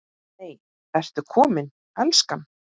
NEI, ERTU KOMIN, ELSKAN!